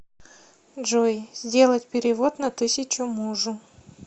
джой сделать перевод на тысячу мужу